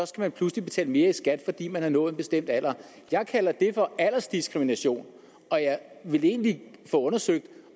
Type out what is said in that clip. skal man pludselig betale mere i skat fordi man har nået en bestemt alder jeg kalder det for aldersdiskrimination og jeg vil egentlig få undersøgt